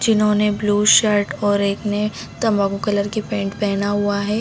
जिन्होंने blue shirt और एक ने तंबाकू कलर की पेंट पहना हुआ हैं।